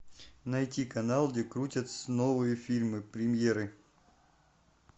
найти канал где крутятся новые фильмы премьеры